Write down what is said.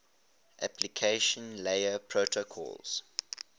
application layer protocols